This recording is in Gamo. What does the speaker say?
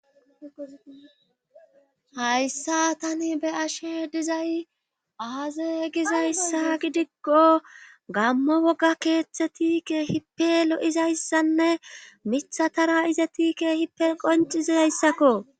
hayssa tani be ashe dizay aaze gizayssa gidikko gammo wogga keeththe tiike hipe lo7izayssanne mitha tara iza tiike hipel qoncizayssakko